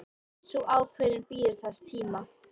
Sú ákvörðun bíður þess tíma.